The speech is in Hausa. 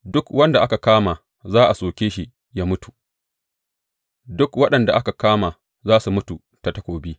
Duk wanda aka kama za a soke shi yă mutu; dukan waɗanda aka kama za su mutu ta takobi.